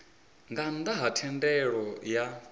nga nnda ha thendelo ya